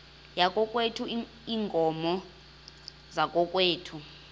yakokwethu iinkomo zakokwethu